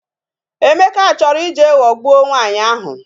Emeka chọrọ ije ghọgbuo nwaanyị ahụ